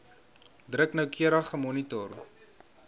druk noukeurig gemonitor